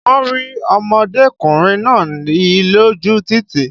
Wọ́n rí ọmọdékùnrin náà he lójú títì